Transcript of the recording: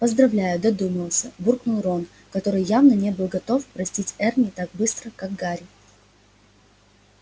поздравляю додумался буркнул рон который явно не был готов простить эрни так быстро как гарри